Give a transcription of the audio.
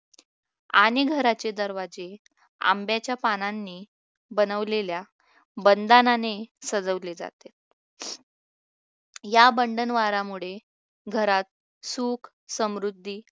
आणि घराचे दरवाजे आंब्याच्या पानांनी बनवलेल्या बंधनाने सजवले जाते या बंधन द्वारामुळे घरात सुख समृद्धी